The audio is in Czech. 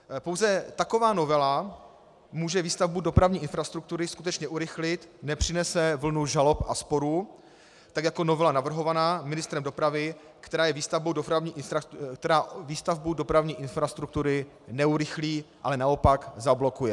Pouze taková novela může výstavbu dopravní infrastruktury skutečně urychlit, nepřinese vlnu žalob a sporů tak jako novela navrhovaná ministrem dopravy, která výstavbu dopravní infrastruktury neurychlí, ale naopak zablokuje.